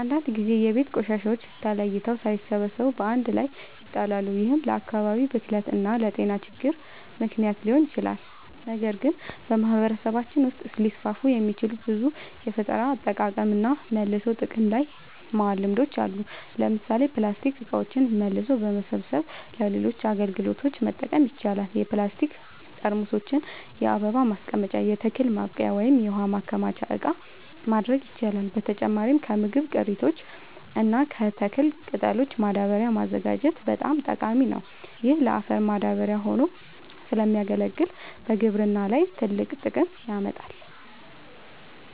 አንዳንድ ጊዜ የቤት ቆሻሻዎች ተለይተው ሳይሰበሰቡ በአንድ ላይ ይጣላሉ፤ ይህም ለአካባቢ ብክለት እና ለጤና ችግሮች ምክንያት ሊሆን ይችላል። ነገር ግን በማህበረሰባችን ውስጥ ሊስፋፉ የሚችሉ ብዙ የፈጠራ አጠቃቀምና መልሶ ጥቅም ላይ ማዋል ልምዶች አሉ። ለምሳሌ ፕላስቲክ እቃዎችን መልሶ በመሰብሰብ ለሌሎች አገልግሎቶች መጠቀም ይቻላል። የፕላስቲክ ጠርሙሶችን የአበባ ማስቀመጫ፣ የተክል ማብቀያ ወይም የውሃ ማከማቻ እቃ ማድረግ ይቻላል። በተጨማሪም ከምግብ ቅሪቶች እና ከተክል ቅጠሎች ማዳበሪያ ማዘጋጀት በጣም ጠቃሚ ነው። ይህ ለአፈር ማዳበሪያ ሆኖ ስለሚያገለግል በግብርና ላይ ትልቅ ጥቅም ያመጣል።